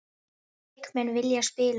Leikmenn vilja spila